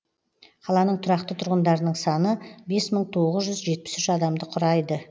қаланың тұрақты тұрғындарының саны бес мың тоғыз жүз жетпыс үш адамды құрайды